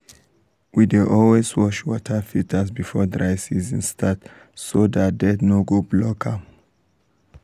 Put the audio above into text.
we dey always wash water filters before dry season start so dat dirt no go block am.